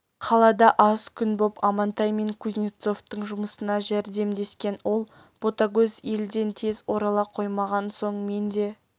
қалада аз күн боп амантай мен кузнецовтың жұмысына жәрдемдескен ол ботагөз елден тез орала қоймаған соң мен де